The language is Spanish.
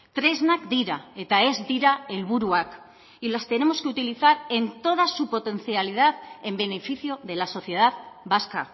tresnak dira eta ez dira helburuak y las tenemos que utilizar en toda su potencialidad en beneficio de la sociedad vasca